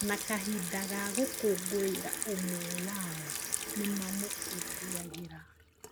Na kahinda ga gũkũngũĩra ũmwe wao nĩmamũkũngũyagĩra